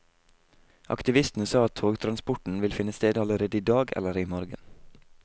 Aktivistene sa i går at togtransporten vil finne sted allerede i dag eller i morgen.